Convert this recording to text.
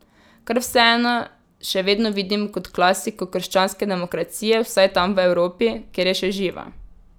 Kar vseeno še vedno vidim kot klasiko krščanske demokracije vsaj tam v Evropi, kjer je še živa.